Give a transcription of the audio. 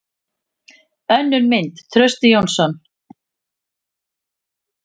Önnur mynd: Trausti Jónsson.